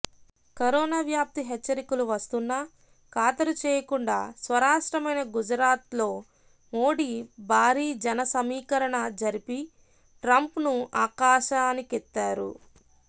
corona వ్యాప్తి హెచ్చరికలు వస్తున్నా ఖాతరు చేయకుండా స్వరాష్ట్రమైన గుజరాత్లో మోడీ భారీ జనసమీకరణ జరిపి ట్రంప్ను ఆకాశానికెత్తారు